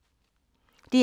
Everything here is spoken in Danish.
DR2